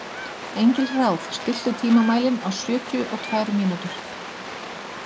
Engilráð, stilltu tímamælinn á sjötíu og tvær mínútur.